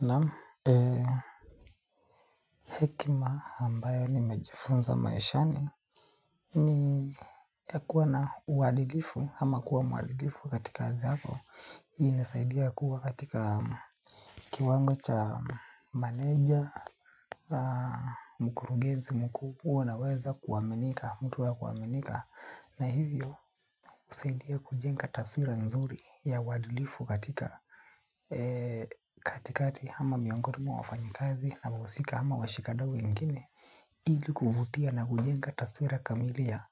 Naam, hekima ambayo nimejifunza maishani ni ya kuwa na uadilifu, ama kuwa mwadilifu katika kazi yako. Hii inasaidia kuwa katika kiwango cha meneja, mkurugenzi mkuu kuwa unaweza kuaminika, mtu wa kuaminika. Na hivyo husaidia kujenga taswira nzuri ya uadilifu katika katikati ama miongoni mwa wafanyikazi na wahusika ama washika dau wengine ili kuvutia na kujenga taswira kamili ya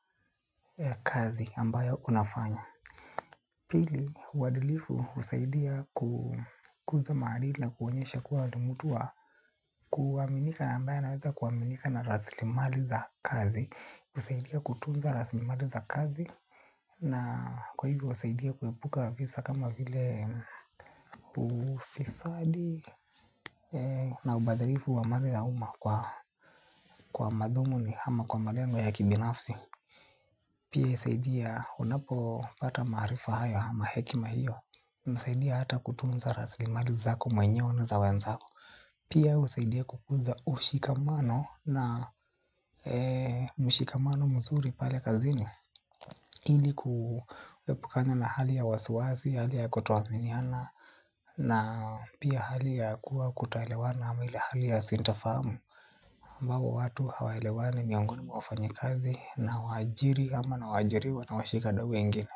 kazi ambayo unafanya. Pili, uadilifu husaidia kukuza maadili na kuonyesha kuwa wewe ni mtu wa kuaminika ambaye anaweza kuaminika na raslimali za kazi husaidia kutunza raslimali za kazi. Na kwa hivyo husaidia kuepuka visa kama vile ufisadi na ubadhirifu wa mali ya umma kwa madhumuni ama kwa malengo ya kibinafsi. Pia husaidia unapopata maarifa hayo ama hekima hiyo. Husaidia hata kutunza raslimali zako mwenyewe na za wenzako. Pia husaidia kukuza ushikamano na mshikamano mzuri pale kazini. Ili kuepukana na hali ya wasiwasi, hali ya kutoaminiana na pia hali ya kuwa kutoelewana ama ile hali ya sintofahamu ambapo watu hawaelewani miongoni mwa wafanyikazi na waajiri ama na waajiriwa na washika dau wengine.